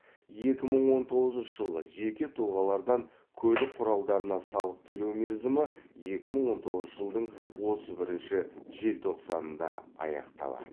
екі мың он тоғызыншы жылы жеке тұлғалардан көлік құралдарына салық төлеу мерзімі екі мың он тоғызыншы жылдың отыз бірінші желтоқсанында аяқталады